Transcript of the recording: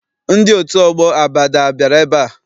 Ndị otu ọgbọ Abada abịara ebea?